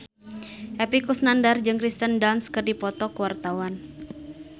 Epy Kusnandar jeung Kirsten Dunst keur dipoto ku wartawan